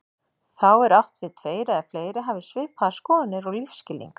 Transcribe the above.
Þá er átt við tveir eða fleiri hafi svipaðar skoðanir og lífsskilning.